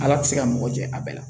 Ala te se ka mɔgɔ jɛ a bɛɛ la